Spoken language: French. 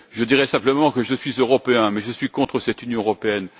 Je dirai simplement que je suis Européen mais que je suis contre cette Union européenne.